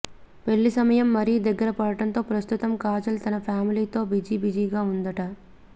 పెళ్లి సమయం మరీ దగ్గర పడటంతో ప్రస్తుతం కాజల్ తన ఫ్యామిలీతో బిజీబిజీగా ఉందట